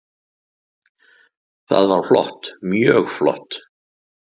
Það var flott, mjög flott.